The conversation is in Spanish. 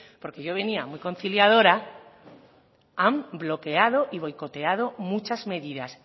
porque yo venía muy conciliadora han bloqueado y boicoteado muchas medidas